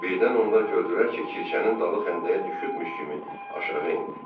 Birdən onlar gördülər ki, Kirşənin dalı xəndəyə düşübmüş kimi aşağı endi.